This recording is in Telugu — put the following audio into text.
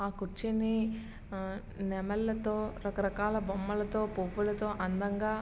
ఆ కుర్చీని ఆ నెమలితో రకరకాల బొమ్మలతో పువ్వులతో అందంగా --